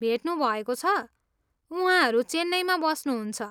भेट्नुभएको छ, उहाँहरू चेन्नईमा बस्नुहुन्छ।